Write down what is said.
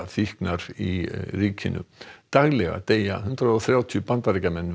ópíóíðafíknar í ríkinu daglega deyja hundrað og þrjátíu Bandaríkjamenn